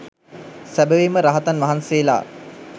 සැබැවින්ම රහතන් වහන්සේලා